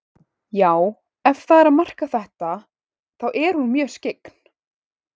Já, ef það er að marka þetta, þá er hún mjög skyggn.